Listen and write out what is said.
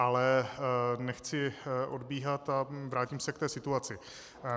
Ale nechci odbíhat a vrátím se k té situaci.